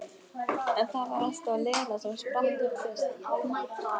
En það var alltaf Lena sem spratt upp fyrst.